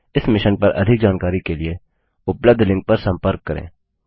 इस मिशन पर अधिक जानकारी के लिए उपलब्ध लिंक पर संपर्क करें